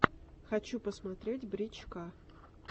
хочу посмотреть брич ка